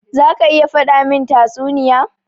Za ka iya faɗa min tatsuniya?